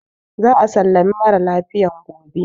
Za a sallami mara lafiyan gobe.